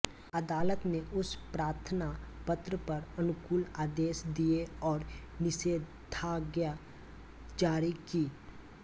अदालत ने उस प्रार्थना पत्र पर अनुकूल आदेश दिए और निषेधाज्ञा जारी की